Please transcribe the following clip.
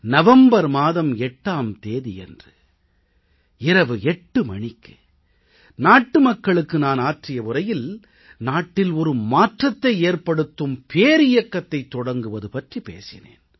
November மாதம் 8ஆம் தேதியன்று இரவு 8 மணிக்கு நாட்டு மக்களுக்கு நான் ஆற்றிய உரையில் நாட்டில் ஒரு மாற்றத்தை ஏற்படுத்தும் பேரியக்கத்தைத் தொடங்குவது பற்றிப் பேசினேன்